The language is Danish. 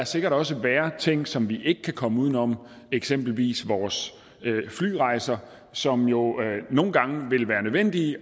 sikkert også vil være ting som vi ikke kan komme uden om eksempelvis vores flyrejser som jo nogle gange vil være nødvendige